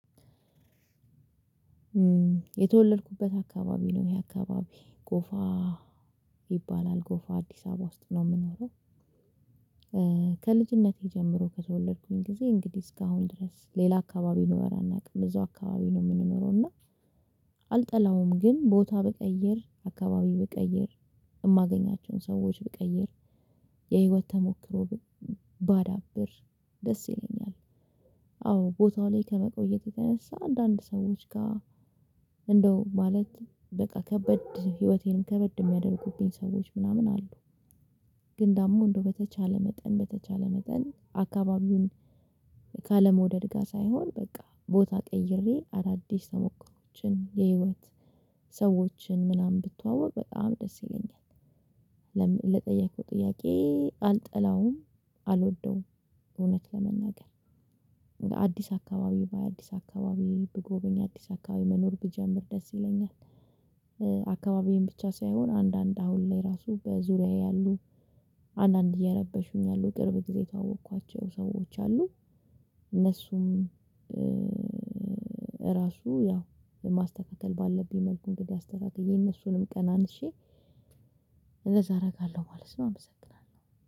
የተወለድኩበት አካባቢ ነው ይሄ አካባቢ። ጎፋ ይባላል ጎፋ አዲስ አበባ ውስጥ ነው የምኖረው ከልጅነቴ ጀምሮ ከተወለድኩኝ ጊዜ እንግዲህ እስካሁን ድረስ ሌላ አካባቢ ኖረን አናውቅም እዛው አካባቢ ነው የምንኖረው እና አልጠላውም ግን ቦታ ብቀይር አካባቢ ብቀይር የማገኛቸውን ሰዎች ብቀይር የህይወት ተሞክሮ ባዳብር ደስ ይለኛል። አዎ ቦታው ላይ ከመቆየት የተነሳ አንዳንድ ሰዎች ጋር እንደው ማለት በቃ ከበድ ህይወቴንም ከበድ የሚያደርጉብኝ ሰዎች ምናምን አሉ ግን ደግሞ እንደው በተቻለ መጠን በተቻለ መጠን አካባቢውን ካለመውደድ ጋር ሳይሆን በቃ ቦታ ቀይሬ አዳዲስ ተሞክሮዎችን የህይወት ሰዎችን ምናምን ብትዋወቅ በጣም ደስ ይለኛል ለጠየቀው ጥያቄ አልጠላውም አልወደውም እውነት ለመናገር አዲስ አካባቢ ባይ አዲስ አካባቢ ብጎበኝ አዲስ አካባቢ መኖር ብጀምር ደስ ይለኛል አካባቢዬን ብቻ ሳይሆን አንዳንድ አሁን ላይ ራሱ በዙሪያዬ ያሉ አንዳንድ እየረበሹኝ ያሉ ቅርብ ጊዜ ታዋወቅኳቸው ሰዎች አሉ እነሱም ራሱ ያው ማስተካከል ባለብኝ መልኩ እንግዲህ አስተካክዬ እነሱንም ቀናንሼ እንደዛ አደርጋለሁ ማለት ነው። አመሰግናለሁ።